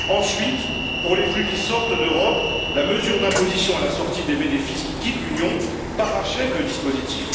Ensuite, pour les flux qui sortent d'Europe, la mesure d'imposition à la sortie des bénéfices qui quittent l'Union parachève le dispositif.